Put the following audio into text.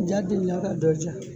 Ja deli ka dɔ ja